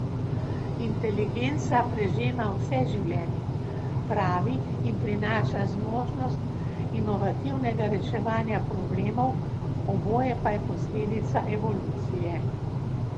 Inteligenca prežema vse življenje, pravi, in prinaša zmožnost inovativnega reševanja problemov, oboje pa je posledica evolucije.